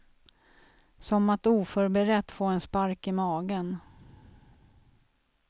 Som att oförberett få en spark i magen.